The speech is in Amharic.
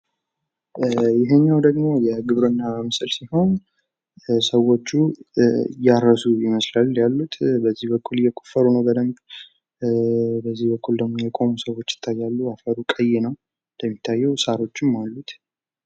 ይህኛው ደግሞ የግብርና ምስል ሲሆን ሰዎቹ እያረሱ ይመስላል ያሉት በዚህ በኩል እየቆፈሩ ነው በደንብ በዚህ በኩል ደግሞ የቆሙ ሰዎች ይታያሉ አፈሩ ቀይ ነው። እንደሚታየው ሳሮችም አሉት።